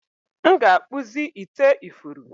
m ga-akpụzi ite ifuru